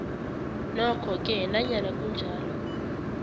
nokhoke nanyana kunjalo